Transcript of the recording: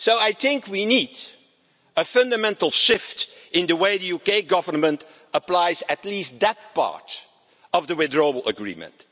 So I think we need a fundamental shift in the way the UK Government applies at least that part of the Withdrawal Agreement.